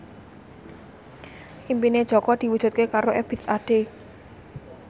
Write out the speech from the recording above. impine Jaka diwujudke karo Ebith Ade